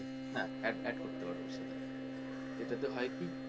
হ্যাঁ add add করতে পারবে ওর সাথে সেটা তে হয় কি,